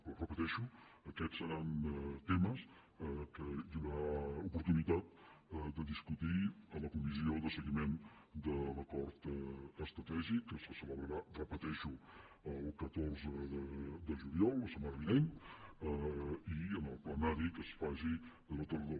però ho repeteixo aquests seran temes que hi haurà oportunitat de discutir a la comissió de seguiment de l’acord estratègic que se celebrarà ho repeteixo el catorze de juliol la setmana vinent i en el plenari que es faci a la tardor